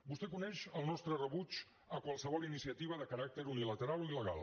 vostè coneix el nostre rebuig a qualsevol iniciativa de caràcter unilateral o il·legal